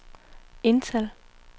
indtal